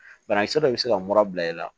Banakisɛ dɔ bɛ se ka mura bila i la